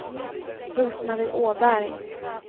Rose-Marie Åberg